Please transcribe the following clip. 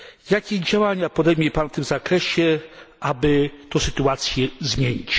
Jakie działania podejmie pan w tym zakresie, aby tę sytuację zmienić?